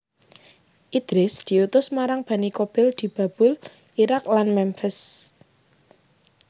Idris diutus marang Bani Qabil di Babul Iraq lan Memphis